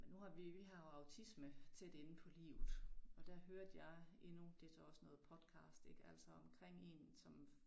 Men nu har vi vi har jo autisme tæt inde på livet og der hørte jeg endnu det så også noget podcast ik altså omkring én som